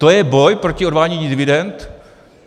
To je boj proti odvádění dividend?